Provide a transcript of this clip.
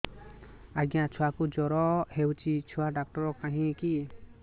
ଆଜ୍ଞା ଛୁଆକୁ ଜର ହେଇଚି ଛୁଆ ଡାକ୍ତର କାହିଁ କି